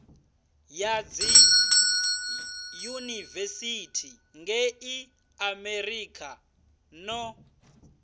ya dziyunivesithi ngei amerika no